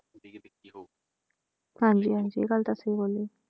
ਹਾਂਜੀ ਹਾਂਜੀ ਗੱਲ ਤਾਂ ਸਹੀ ਬੋਲੀ ਹੈ।